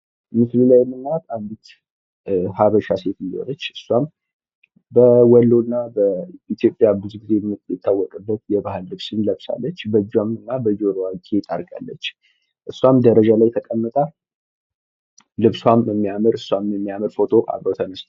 ምስሉ ላይ የምናያት አንዲት ሃበሻ ሴትዮ ናት። እስዋም በወሎ እና በኢትዮጵያ ብዙ ጊዜ የምትታወቅበት የባህል ልብስን ለብሳለች። በእጅዋ እና በጆሮዋ ጌጥ አድርጋለች። እስዋም ደረጃው ላይ ተቀምጣ ልብስዋም የሚያምር እስዋም የሚያምር ፎቶ ተነስተዋል።